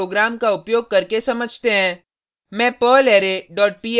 इसे एक sample program का उपयोग करके समझते हैं